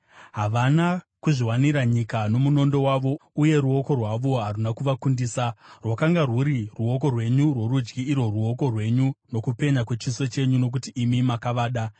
Havana kuzviwanira nyika nomunondo wavo, uye ruoko rwavo haruna kuvakundisa; rwakanga rwuri ruoko rwenyu rworudyi, irwo ruoko rwenyu, nokupenya kwechiso chenyu, nokuti imi makavada.